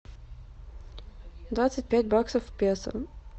двадцать пять баксов в песо